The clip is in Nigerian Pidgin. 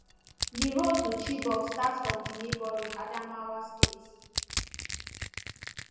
di road to chibok start from di neighbouring adamawa state.